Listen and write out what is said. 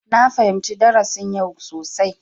Na fahimci darasin yau sosai.